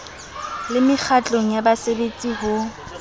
le mekgatlong ya baserbetsi ho